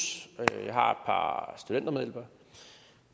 jeg har par studentermedhjælpere og